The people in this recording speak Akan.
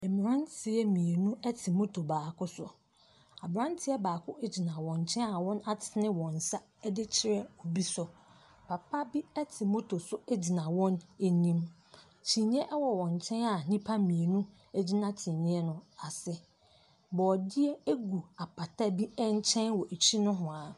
Mmranteɛ mmienu te motor baako so. Abranteɛ baako gyia wɔn nkyɛn a wɔn atene wɔn nsa akyerɛ bi so. Papa no te motor so gyina wɔn anim,. Kyiniiɛ wɔ wɔn nkyɛn a nnipa mmienu gyina kyiniiɛ no ase. Borɔdeɛ egu apata bi nkyɛn wɔ akyi nohwaa.